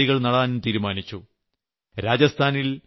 25 ലക്ഷം ചെടികൾ നടാനും തീരുമാനിച്ചു